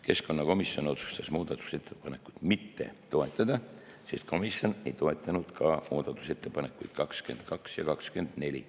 Keskkonnakomisjon otsustas muudatusettepanekut mitte toetada, sest komisjon ei toetanud ka muudatusettepanekuid 22 ja 24.